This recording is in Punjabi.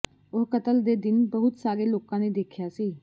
ਉਹ ਕਤਲ ਦੇ ਦਿਨ ਬਹੁਤ ਸਾਰੇ ਲੋਕਾਂ ਨੇ ਦੇਖਿਆ ਸੀ